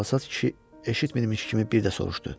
Çalsat kişi eşitməmiş kimi bir də soruşdu.